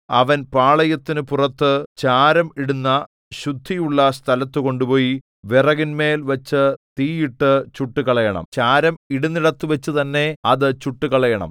അവൻ പാളയത്തിനു പുറത്തു ചാരം ഇടുന്ന ശുദ്ധിയുള്ള സ്ഥലത്തുകൊണ്ടുപോയി വിറകിന്മേൽ വച്ചു തീയിട്ടു ചുട്ടുകളയണം ചാരം ഇടുന്നിടത്തുവച്ചുതന്നെ അത് ചുട്ടുകളയണം